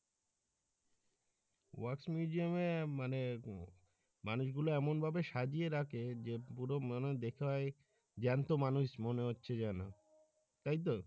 wax museum এ মানে মানুষ গুলা এমন ভাবে সাজিয়ে রাখে যে পুরো মানে দেখায় জ্যান্ত মানুষ মনে হচ্ছে যেন তাইতো।